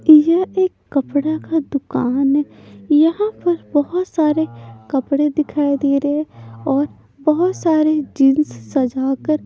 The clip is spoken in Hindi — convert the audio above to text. यह एक कपड़ा का दुकान है यहां पर बहुत सारे कपड़े दिखाई दे रहे हैं और बहुत सारे जींस सजाकर--